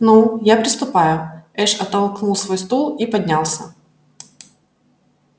ну я приступаю эш оттолкнул свой стул и поднялся